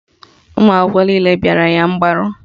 Ụmụakwụkwọ niile bịara ya mgbaru